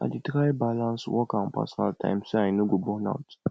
i dey try balance work and personal life so i no go burn out